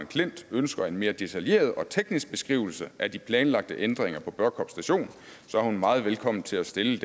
klint ønsker en mere detaljeret og teknisk beskrivelse af de planlagte ændringer på børkop station er hun meget velkommen til at stille